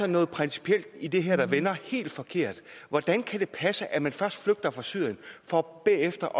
noget principielt i det her der vender helt forkert hvordan kan det passe at man først flygter fra syrien for bagefter